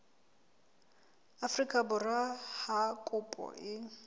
afrika borwa ha kopo e